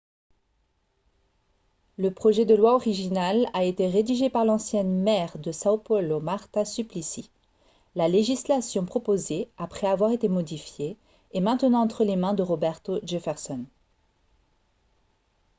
le projet de loi original a été rédigé par l'ancienne maire de são paulo marta suplicy. la législation proposée après avoir été modifiée est maintenant entre les mains de roberto jefferson